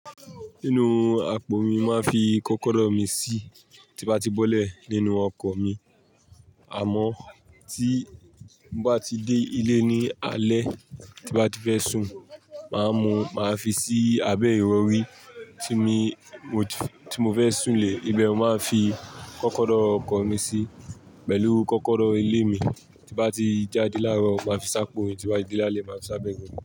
Nínú àpò mi máa ń fi kọ́kọ́rọ́ mi sí tí bá ti bọ́lẹ̀ nínú ọkọ̀ mi. Àmọ́ tí bá ti dé ilé ní alẹ́, tí bá ti fẹ́ sùn, màá mú, màá fi sí abẹ́ ìrọrí tí mo fẹ́ sùn lé. Ibẹ̀ mo máa ń fi kọ́kọ́rọ́ ọkọ̀ mi sí pẹ̀lú kọ́kọ́rọ́ ilé mi tí bá ti jáde láro máa fi sápò, tí bá ti de lálé máa fi sábẹ́ Ìrọ̀rí.